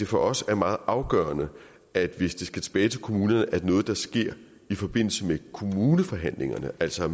for os er meget afgørende at det hvis det skal tilbage til kommunerne er noget der sker i forbindelse med kommuneforhandlingerne altså